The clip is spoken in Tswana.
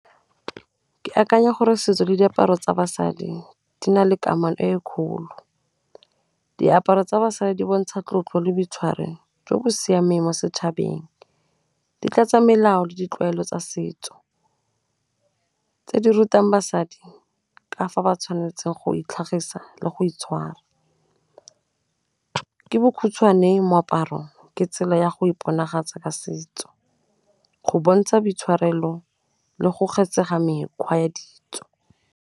Ke akanya gore setso le diaparo tsa basadi di na le kamano e kgolo. Diaparo tsa basadi di bontsha tlotlo le boitshwaro jo bo siameng mo setšhabeng, di tlatsa melao le ditlwaelo tsa setso tse di rutang basadi ka fa ba tshwanetseng go itlhagisa le go itshwara. Ke bokhutshwane moaparo ke tsela ya go iponagatsa ka setso, go bontsha boitshwarelo le go mekgwa ya ditso.